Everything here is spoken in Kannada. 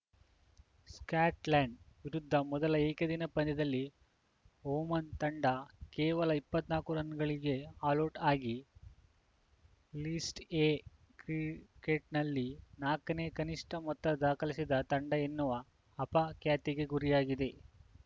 ಸ್ಯಾಕ್ಟ್ ಲೆಂಡ್ ವಿರುದ್ಧ ಮೊದಲ ಏಕದಿನ ಪಂದ್ಯದಲ್ಲಿ ಒಮಾನ್‌ ತಂಡ ಕೇವಲ ಇಪ್ಪತ್ತ್ ನಾಕು ರನ್‌ಗಳಿಗೆ ಆಲೌಟ್‌ ಆಗಿ ಲಿಸ್ಟ್‌ ಎ ಕ್ರಿ ಕೆಟ್‌ನಲ್ಲಿ ನಾಕನೇ ಕನಿಷ್ಠ ಮೊತ್ತ ದಾಖಲಿಸಿದ ತಂಡ ಎನ್ನುವ ಅಪ ಖ್ಯಾತಿಗೆ ಗುರಿಯಾಗಿದೆ